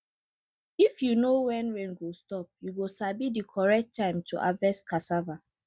if you know when rain go stop you go sabi di correct time to harvest cassava